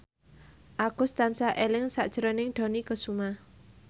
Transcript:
Agus tansah eling sakjroning Dony Kesuma